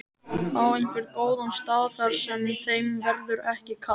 Á einhvern góðan stað þar sem þeim verður ekki kalt.